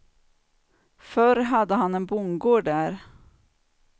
Förr hade han en bondgård där.